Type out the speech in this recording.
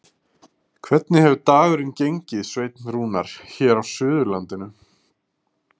Hvernig hefur dagurinn gengið, Sveinn Rúnar, hér á Suðurlandinu?